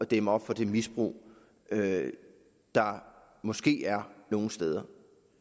dæmme op for det misbrug der måske er nogle steder